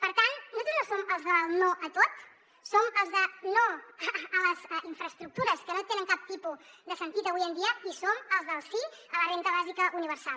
per tant nosaltres no som els del no a tot som els del no a les infraestructures que no tenen cap tipus de sentit avui en dia i som els del sí a la renda bàsica universal